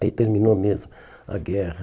Aí terminou mesmo a guerra.